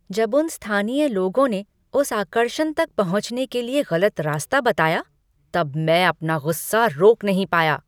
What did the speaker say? जब उन स्थानीय लोगों ने उस आकर्षण तक पहुंचने के लिए गलत रास्ता बताया तब मैं अपना गुस्सा रोक नहीं पाया।